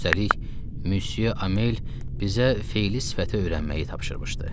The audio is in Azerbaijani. Üstəlik, Müsye Amel bizə feli sifəti öyrənməyi tapşırmışdı.